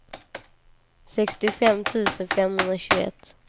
sextiofem tusen femhundratjugoett